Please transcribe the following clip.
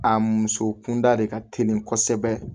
A muso kunda de ka teli kosɛbɛ